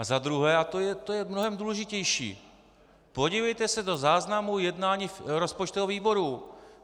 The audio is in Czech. A za druhé, a to je mnohem důležitější, podívejte se do záznamu jednání rozpočtového výboru.